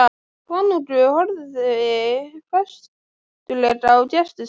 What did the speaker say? Konungur horfði festulega á gesti sína.